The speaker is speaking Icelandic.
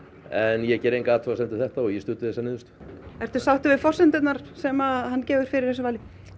en ég geri enga athugasemd við þetta og ég studdi þessa niðurstöðu ertu sáttur við forsendurnar sem hann gefur fyrir þessu vali